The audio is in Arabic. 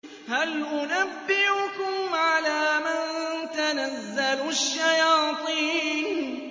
هَلْ أُنَبِّئُكُمْ عَلَىٰ مَن تَنَزَّلُ الشَّيَاطِينُ